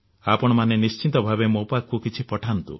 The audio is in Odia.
ଆପଣମାନେ ନିଶ୍ଚିତ ଭାବେ ମୋ ପାଖକୁ କିଛି ପଠାନ୍ତୁ